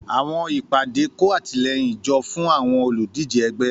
Àwọn ìpàdé kó àtìlẹ́yìn jọ fún àwọn olùdíje ẹgbẹ́.